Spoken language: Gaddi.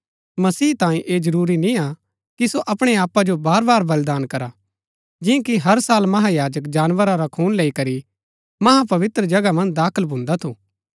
मसीह तांये ऐह जरूरी निय्आ कि सो अपणै आपा जो बारबार बलिदान करा जिआं कि हर साल महायाजक जानवरा रा खून लेई करी महापवित्र जगहा मन्ज दाखल भून्दा थू